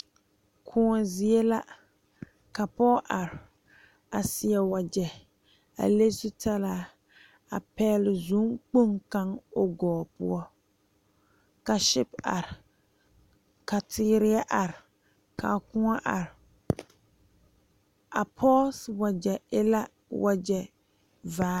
Kõɔ zie la ka pɔge are a seɛ wagye a le zutalaa a pegle zɔŋ kpoŋ kaŋ o gɔɔ poɔ ka sipe are ka teere yɛ are ka kõɔ are a pɔge si wagye e la wagye vaa.